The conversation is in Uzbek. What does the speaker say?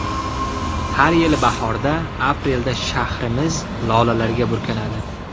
Har yili bahorda, aprelda shahrimiz lolalarga burkanadi.